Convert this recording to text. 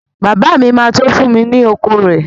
Bàbá mi ma tó fún mi ni oko rẹ